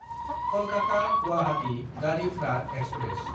कलकाता–गुवाहाटी Garib Rath express